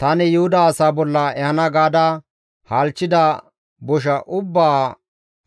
Tani Yuhuda asaa bolla ehana gaada halchchida bosha ubbaa